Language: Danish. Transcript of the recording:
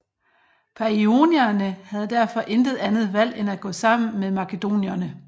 Paionierne havde derfor intet andet valg end gå sammen med makedonierne